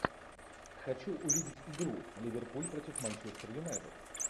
хочу увидеть игру ливерпуль против манчестер юнайтед